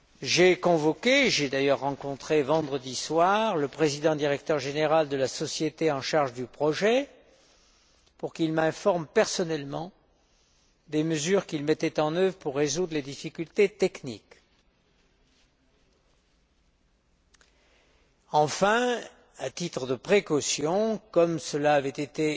J'ai convoqué et rencontré vendredi soir le président directeur général de la société en charge du projet pour qu'il m'informe personnellement des mesures qu'il mettait en œuvre pour résoudre les difficultés techniques. Enfin, à titre de précaution, comme cela avait été